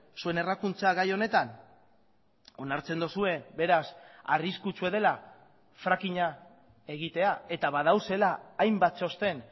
zuen errakuntza gai honetan onartzen duzue beraz arriskutsua dela frackinga egitea eta badaudela hainbat txosten